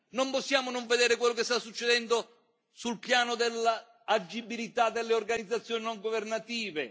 Non possiamo non vedere quello che sta succedendo sul piano dell'agibilità delle organizzazioni non governative.